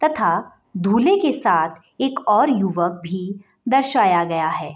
तथा दूले के साथ एक और युवक भी दर्शया गया है।